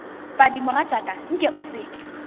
padi mogatšaka nke o se